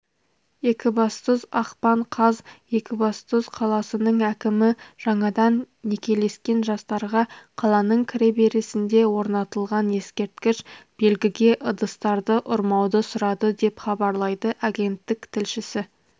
екібастұз ақпан қаз екібастұз қаласының әкімі жаңадан некелескен жастарға қаланың кіреберісінде орнатылған ескерткіш белгіге ыдыстарды ұрмауды сұрады деп хабарлайды агенттік тілшісі